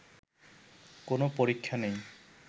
কোনো পরীক্ষা নেই